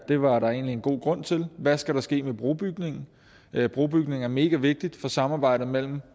det var der en god grund til hvad skal der ske med brobygningen brobygning er megavigtigt for samarbejdet mellem